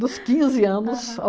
Dos quinze anos